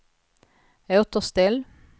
återställ